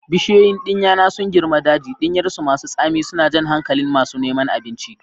Bishiyoyin ɗinya na sun girma daji, ɗinyarsu masu tsami suna jan hankalin masu neman abinci.